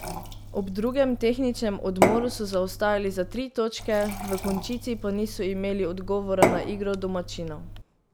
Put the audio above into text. Ob drugem tehničnem odmoru so zaostajali za tri točke, v končnici pa niso imeli odgovora na igro domačinov.